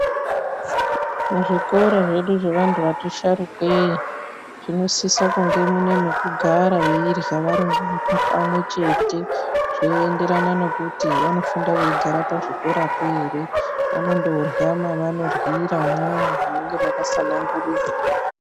Muzvikora zvesu zvevandu vari sharukwei zvinosise kunge mune pekuagara veidya vari pamwe chete, zvinoenderana nekuti pachikora pacho anenge eigarapo here vamonorya mavanoryira mwona imwomwo munenge maka sanangurirwa.